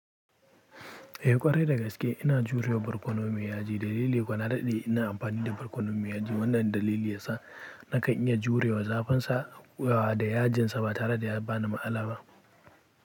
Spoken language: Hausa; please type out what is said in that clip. Eh ƙwarai da gaske ina jurewa barkono me yaji. Dalili kuwa na daɗe ina amfani da barkono me yaji. Wannan dalili ya sa. Nakan iya jurewa zafin sa da yajin sa ba tare da ya bani matsala ba.